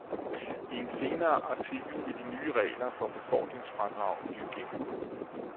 I en senere artikel vil de nye regler for befordringsfradrag blive gennemgået.